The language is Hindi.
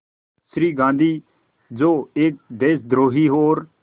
श्री गांधी जो एक देशद्रोही और